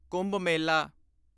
Kumbh Mela